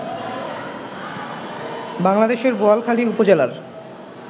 বাংলাদেশের বোয়ালখালী উপজেলার